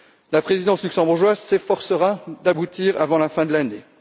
La présidence luxembourgeoise s'efforcera d'aboutir avant la fin de l'année.